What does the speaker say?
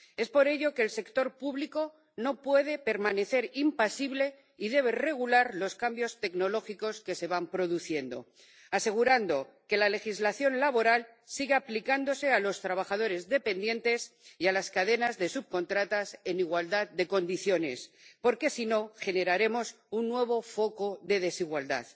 Por ello, el sector público no puede permanecer impasible y debe regular los cambios tecnológicos que se van produciendo, asegurando que la legislación laboral sigue aplicándose a los trabajadores dependientes y a las cadenas de subcontratas en igualdad de condiciones, porque si no generaremos un nuevo foco de desigualdad.